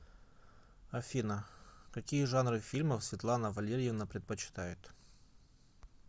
афина какие жанры фильмов светлана валерьевна предпочитает